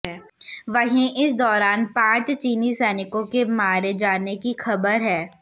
वहीं इस दौरान पांच चीनी सैनिकों के मारे जाने की खबर है